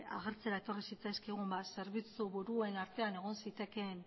agertzera etorri zitzaizkigun zerbitzuburuen artean egon zitekeen